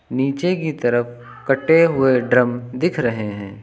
नीचे की तरफ कटे हुए ड्रम दिख रहे हैं।